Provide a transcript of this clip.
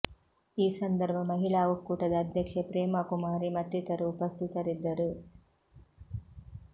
ಈ ಸಂದರ್ಭ ಮಹಿಳಾ ಒಕ್ಕೂಟದ ಅಧ್ಯಕ್ಷೆ ಪ್ರೇಮಾ ಕುಮಾರಿ ಮತ್ತಿತರರು ಉಪಸ್ಥಿತರಿದ್ದರು